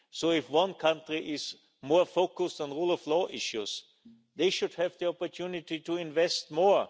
So if one country is more focused on rule of law issues, they should have the opportunity to invest more.